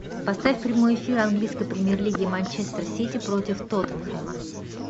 поставь прямой эфир английской премьер лиги манчестер сити против тоттенхэма